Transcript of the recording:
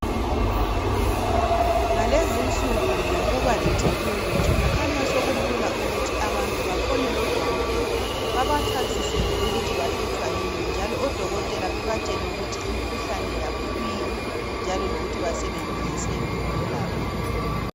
Ngalezinsuku ngokuba le technology , kukhanya sokulula ukuthi abantu bafonele odokotela babachasisele ukuthi bahlutshwa yini njalo odokotela babatshele ukuthi imikhuhlane yabo yikuyini njalo lokuthi basebenziseni ukwelapha